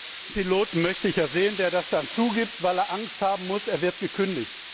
Den Piloten möchte ich ja sehen, der das dann zugibt, weil er Angst haben muss, er wird gekündigt!